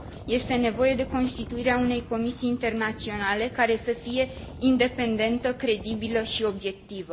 Este nevoie de constituirea unei comisii internaționale care să fie independentă, credibilă și obiectivă.